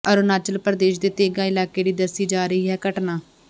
ਅਰੁਣਾਚਲ ਪ੍ਰਦੇਸ਼ ਦੇ ਤੇਂਗਾ ਇਲਾਕੇ ਦੀ ਦੱਸੀ ਜਾ ਰਹੀ ਹੈ ਘਟਨਾ